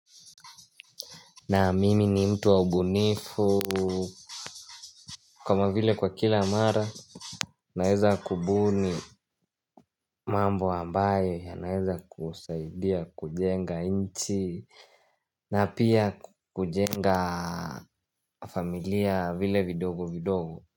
Naam, mimi ni mtu wa ubunifu. Kama vile kwa kila mara naweza kubuni mambo ambayo yanaweza kusaidia kujenga nchi na pia kujenga familia vile vidogo vidogo.